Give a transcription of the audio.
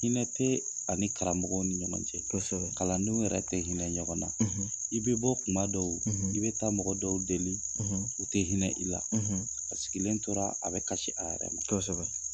Hinɛ tɛ ani karamɔgɔw ni ɲɔgɔn cɛ kalandenw yɛrɛ tɛ hinɛ ɲɔgɔn na i bɛ bɔ kuma dɔw i bɛ taa mɔgɔ dɔw deli u tɛ hinɛ i la a sigilen tora a bɛ kasi a yɛrɛ ma kosɛbɛ.